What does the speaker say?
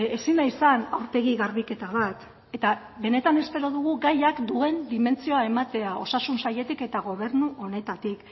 ezin da izan aurpegi garbiketa bat eta benetan espero dugu gaiak duen dimentsioa ematea osasun sailetik eta gobernu honetatik